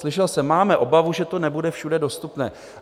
Slyšel jsem, máme obavu, že to nebude všude dostupné.